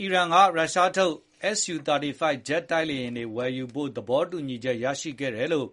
အီရန်က ရုရှားထုတ် Su 35 ဂျက်တိုက်လေယဉ်တွေဝယ်ယူဖို့ သဘောတူညီချက်ရခဲ့တယ်လို့